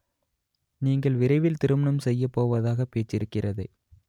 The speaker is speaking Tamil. நீங்கள் விரைவில் திருமணம் செய்யப் போவதாக பேச்சிருக்கிறதே